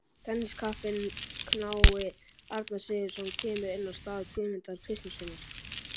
Tenniskappinn knái Arnar Sigurðsson kemur inn á í stað Guðmundar Kristjánssonar.